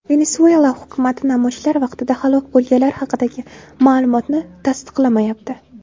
Venesuela hukumati namoyishlar vaqtida halok bo‘lganlar haqidagi ma’lumotni tasdiqlamayapti.